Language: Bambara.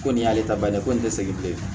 Ko nin y'ale ta bannen ye ko nin tɛ segin bilen